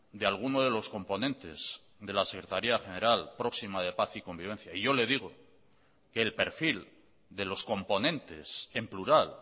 de alguno de los componentes de la secretaría general próxima de paz y convivencia y yo le digo que el perfil de los componentes en plural